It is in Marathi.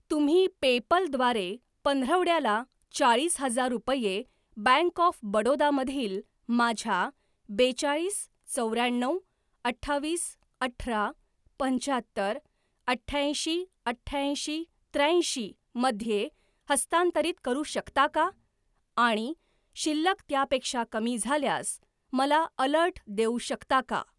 तुम्ही पेपल द्वारे पंधरवड्याला चाळीस हजार रुपये बँक ऑफ बडोदा मधील माझ्या बेचाळीस चौऱ्याण्णव अठ्ठावीस अठरा पंच्याहत्तर अठ्याऐंशी अठ्याऐंशी त्र्याऐंशीमध्ये हस्तांतरित करू शकता का आणि शिल्लक त्यापेक्षा कमी झाल्यास मला अलर्ट देऊ शकता का?